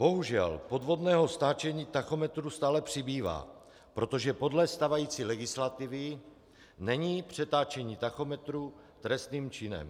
Bohužel podvodného stáčení tachometru stále přibývá, protože podle stávající legislativy není přetáčení tachometru trestným činem.